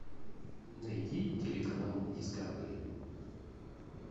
найди телеканал дискавери